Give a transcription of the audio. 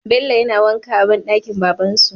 Bello yana wanka a banɗakin baban su